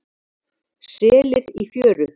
Selir í fjöru.